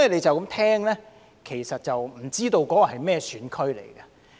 就這樣聽來，其實不知道那些是甚麼選區。